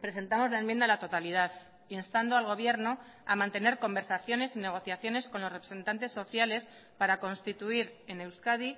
presentamos la enmienda a la totalidad instando al gobierno a mantener conversaciones y negociaciones con los representantes sociales para constituir en euskadi